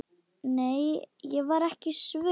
Nei, ég var ekki svöng.